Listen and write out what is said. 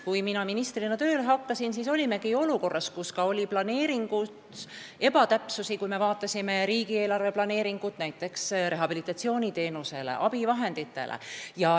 Kui ma ministrina tööle hakkasin, olime olukorras, kus me avastasime ebatäpsusi, kui vaatasime riigieelarve planeeringut näiteks rehabilitatsiooniteenuste ja abivahendite osas.